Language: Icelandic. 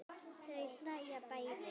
Þau hlæja bæði.